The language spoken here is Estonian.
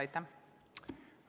Aitäh!